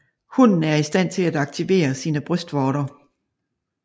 Hunnen er i stand til at aktivere sine brystvorter